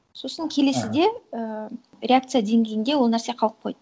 сосын келесіде і реакция деңгейінде ол нәрсе қалып қойды